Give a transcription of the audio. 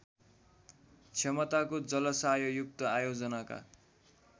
क्षमताको जलाशययुक्त आयोजनाका